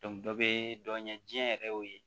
dɔ bɛ dɔ ɲɛ jiɲɛ yɛrɛ o ye